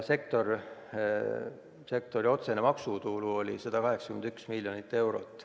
Sektori otsene maksutulu oli 181 miljonit eurot.